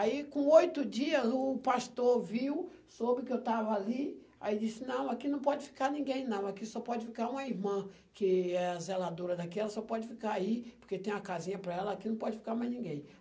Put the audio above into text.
Aí, com oito dias, o pastor viu, soube que eu estava ali, aí disse, não, aqui não pode ficar ninguém, não, aqui só pode ficar uma irmã, que é a zeladora daquela, só pode ficar aí, porque tem uma casinha para ela, aqui não pode ficar mais ninguém.